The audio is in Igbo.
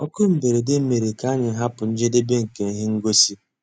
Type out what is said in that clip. Ókú mbérèdé mérè ká ànyị́ hàpụ́ njédébè nkè íhé ngósì.